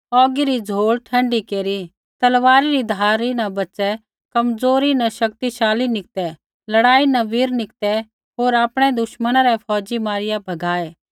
औगी री झ़ौल़ ठण्डी केरी तलवारी री धारी न बच़ै कमज़ोरी न शक्तिशाली निकतै लड़ाई न वीर निकतै होर आपणै दुश्मना रै फौज़ी मारिआ भगाऐ